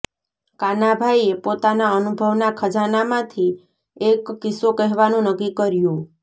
કાનાભાઈએ પોતાના અનુભવના ખજાનામાંથી એક કિસ્સો કહેવાનું નક્કી કર્યું